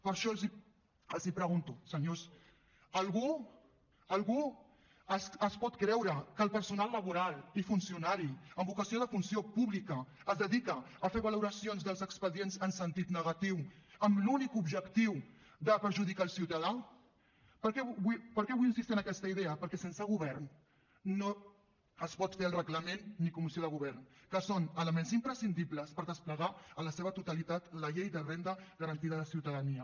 per això els pregunto senyors algú es pot creure que el personal laboral i funcionari amb vocació de funció pública es dedica a fer valoracions dels expedients en sentit negatiu amb l’únic objectiu de perjudicar el ciutadà per què vull insistir en aquesta idea perquè sense govern no es pot fer el reglament ni comissió de govern que són elements imprescindibles per desplegar en la seva totalitat la llei de renda garantida de ciutadania